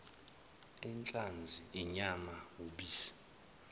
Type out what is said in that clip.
inhlanzi inyama ubisi